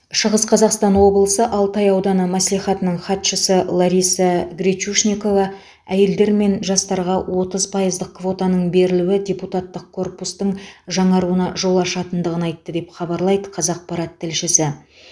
шығыс қазақстан облысы алтай ауданы мәслихатының хатшысы лариса гречушникова әйелдер мен жастарға отыз пайыздық квотаның берілуі депутаттық корпустың жаңаруына жол ашатындығын айтты деп хабарлайды қазақпарат тілшісі